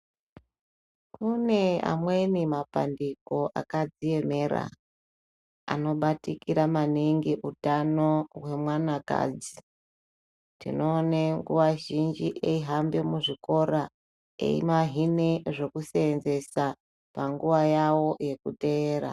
Kune amweni mapandiko akadziemera, anobatikira maningi utano hwemwanakadzi. Tinoone nguwa zhinji yeihambe muzvikora, eivahine zvekuseenzesa, panguva yavo yekuteera.